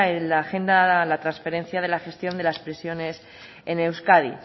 en la agenda la transferencia de la gestión de las prisiones en euskadi